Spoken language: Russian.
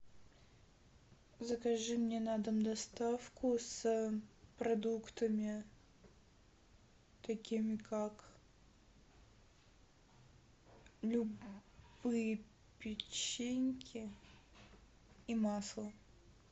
закажи мне на дом доставку с продуктами такими как любые печеньки и масло